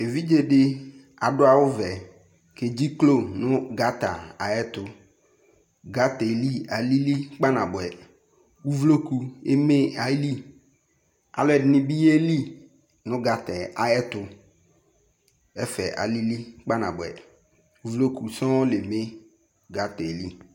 Evidze dɩ adʋ awʋvɛ, edziklo nʋ gata ayɛtʋ Gata yɛ li alili kpanabʋɛ Uvloku eme ayili Alʋɛdɩnɩ bɩ yeli nʋ gata yɛ ayɛtʋ Ɛfɛ alili kpanabʋɛ Uvloku sɔŋ la eme gata yɛ li